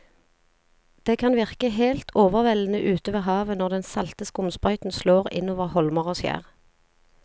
Det kan virke helt overveldende ute ved havet når den salte skumsprøyten slår innover holmer og skjær.